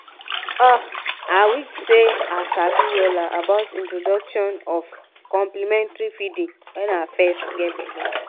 ah i wish seh i sabi wella about introduction of complementary feeding when i fess geh belle